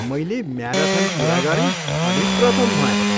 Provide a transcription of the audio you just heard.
मैले म्याराथन पुरा गरेँ अनि प्रथम भएँ।